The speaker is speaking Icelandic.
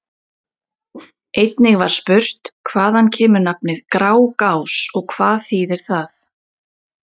Einnig var spurt: Hvaðan kemur nafnið Grágás og hvað þýðir það?